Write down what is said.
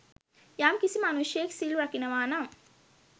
යම්කිසි මනුෂ්‍යයෙක් සිල් රකිනවානම්